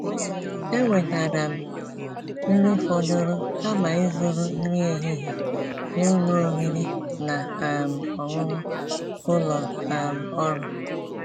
èwètáara m nrí fọ̀dụ̀rụ̀ kàma ízụ̀rụ̀ nrí èhihie n'ụ́lọ̀ ọ̀rị́rị́ ná um ọ̀ṅụ̀ṅụ̀ ụ́lọ̀ um ọ́rụ̀.